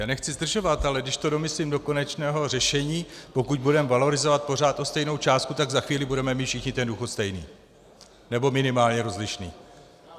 Já nechci zdržovat, ale když to domyslím do konečného řešení -pokud budeme valorizovat pořád o stejnou částku, tak za chvíli budeme mít všichni ten důchod stejný, nebo minimálně rozlišný.